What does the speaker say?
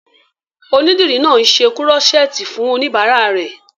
Onídìrí náà n ṣe kúrọ́sẹ́ẹ̀tì fún oníbàárà rẹ̀